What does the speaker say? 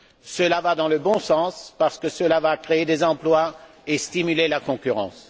Cela va dans le bon sens parce que cela va créer des emplois et stimuler la concurrence.